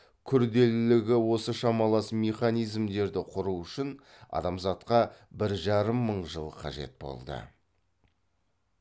күрделілігі осы шамалас механизмдерді құру үшін адамзатқа бір жарым мың жыл қажет болды